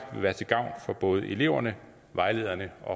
vil være til gavn for både eleverne vejlederne og